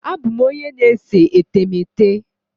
Abụ m onye na-ese etemeete.